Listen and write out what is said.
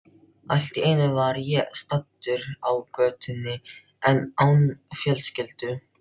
Allt í einu var ég staddur á götunni án fjölskyldu.